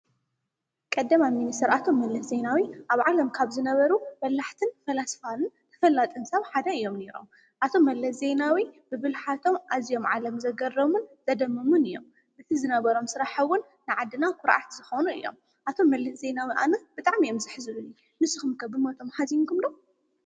ቀዳማይ ሚኒስተር ኣቶ መለስ ዜናዊ ኣብ ዓለም ካብ ዝነበሩ በላሕትን ፈላስፋን ተፈለጥትን ሰብ ሓደ እዮም ነይሮም፡፡ ኣቶ መለብ ዜናዊ ብብልሓቶም ኣዝዮም ዓለም ዘገረሙን ዘደመሙን እዮም፡፡ በቲ ዝነበሮም ስራሕውን ንዓድና ዂርዓት ዝኾኖም እዮም፡፡ ኣቶ መለስ ዜናዊ ኣነ ብጣዕሚ እዮም ዘሕዝኑኒ፡፡ ንስኹም ከ ብሞቶም ሓዚንኩምሉ